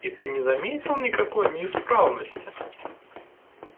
и ты не заметил никакой неисправности